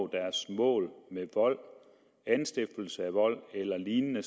deres mål ved vold anstiftelse af vold eller lignende